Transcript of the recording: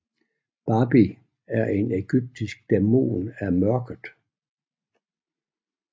Babi var en egyptisk dæmon af mørket